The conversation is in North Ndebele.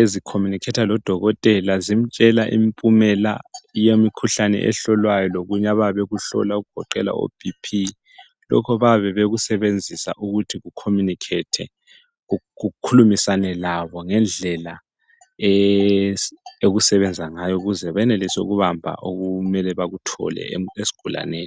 ezi communicator lo dokotela zmtshela impumela yemikhuhlane ehlolwayo lokunye abayabe bekuhlola okugoqela o BP lokho bayabe bekusebenzisa ukuthi ku communicate kukhulumisane labo ngendlela yokusbenza ngayo ukuze benelise ukubamba okumele bakhuthole esigulaneneni